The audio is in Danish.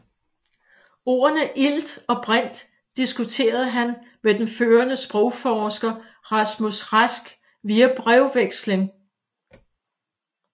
Ordene ilt og brint diskuterede han med den førende sprogforsker Rasmus Rask via brevveksling